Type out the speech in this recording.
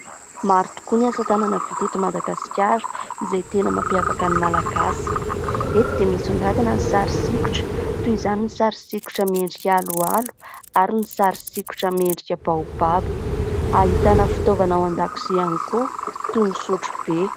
Maro tokoa ny asa tanana vita eto Madagasikara izay tena mampiavaka ny Malagasy. Eto dia misongadina ny sary sikotra toy izany ny sary sikotra miendrika aloalo ary ny sary sikotra mendrika baobaba, ahitana fitaovana ao an-dakilasy ihany koa toy ny sotrobe.